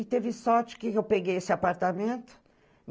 E teve sorte que eu peguei esse apartamento.